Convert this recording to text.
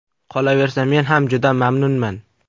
Qolaversa men ham juda mamnunman.